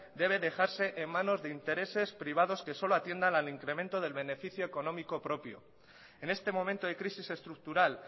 debe dejarse en manos de intereses privados que solo atiendan al incremento del beneficio económico propio en este momento de crisis estructural